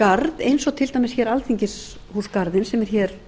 garð eins og til dæmis alþingisghúsgarðinn sem er hér